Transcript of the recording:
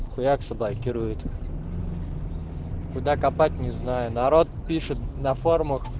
хуяк заблокирует куда копать не знаю народ пишет на форумах